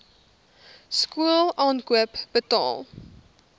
skool aankoop betaal